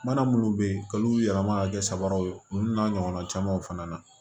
Mana munnu be yen k'olu yɛlɛma ka kɛ sabaraw ye olu n'a ɲɔgɔnna camanw fana na